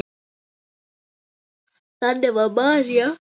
Þannig var María.